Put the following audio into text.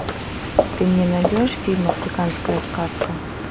ты мне найдешь фильм африканская сказка